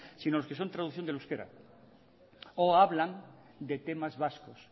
sino los que son traducción del euskera o hablan de temas vascos